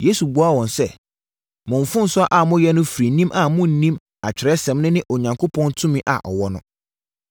Yesu buaa wɔn sɛ, “Mo mfomsoɔ a moayɛ no firi nim a monnim Atwerɛsɛm no ne Onyankopɔn tumi a ɔwɔ no!